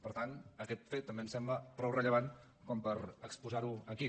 per tant aquest fet també ens sembla prou rellevant per exposar lo aquí